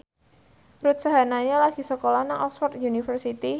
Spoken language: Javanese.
Ruth Sahanaya lagi sekolah nang Oxford university